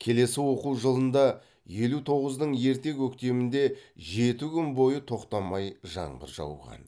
келесі оқу жылында елу тоғыздың ерте көктемінде жеті күн бойы тоқтамай жаңбыр жауған